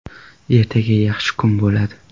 Ertaga yaxshi kun bo‘ladi”.